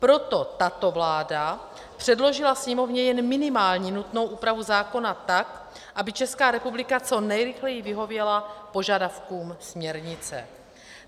Proto tato vláda předložila Sněmovně jen minimálně nutnou úpravu zákona, tak aby Česká republika co nejrychleji vyhověla požadavkům směrnice.